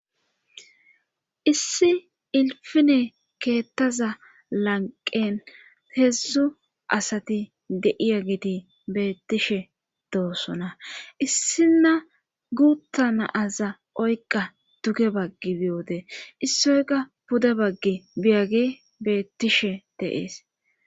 Issi ilfine keettaza lanqen heedzdzu asati deiya giti beettishe doossona issinna guutta naaza oyqa duge baggi biyoode issoyka pude baggi biyage beettishe deees.